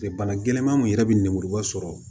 Bana gɛlɛnman min yɛrɛ bɛ nemuruba sɔrɔ